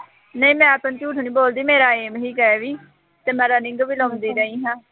ਨਹੀਂ ਮੈਂ ਤੈਨੂੰ ਝੂਠ ਨਹੀਂ ਬੋਲਦੀ ਮੇਰਾ aim ਨਹੀਂ ਹੈਗਾ ਇਹ ਵੀ ਅਤੇ ਮੈਂ running ਵੀ ਲਾਉਂਦੀ ਰਹੀ ਹਾਂ।